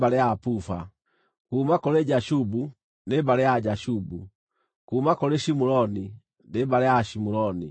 kuuma kũrĩ Jashubu, nĩ mbarĩ ya Ajashubu; kuuma kũrĩ Shimuroni, nĩ mbarĩ ya Ashimuroni.